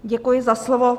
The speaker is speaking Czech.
Děkuji za slovo.